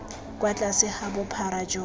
kwa tlase ga bophara jo